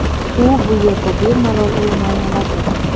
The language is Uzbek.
U bu yerda bemalol o‘ynay oladi.